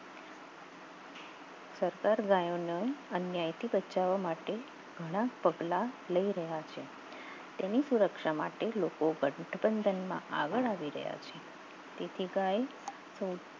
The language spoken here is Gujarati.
સત્તર ગયો ના અન્ય થી બચવા માટે ઘણા પગલાં લય રહ્યા છે એની સુરક્ષા માટે લોકો ગઠબંધનમાં આગળ આવી ગયા છે તેથી ગાય